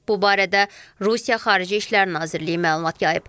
Bu barədə Rusiya Xarici İşlər Nazirliyi məlumat yayıb.